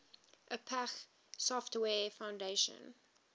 apache software foundation